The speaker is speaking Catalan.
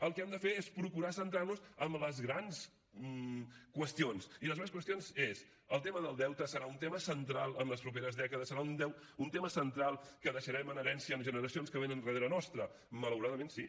el que hem de fer és procurar centrar nos en les grans qüestions i les grans qüestions és el tema del deute serà un tema central en les properes dècades serà un tema central que deixarem en herència a generacions que vénen darrere nostre malauradament sí